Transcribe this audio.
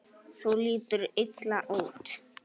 Þú lítur illa út